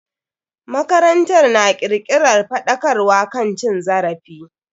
Makarantar na kirkiran faɗakarwa kan cin zarafi.